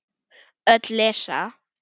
Öll lesa.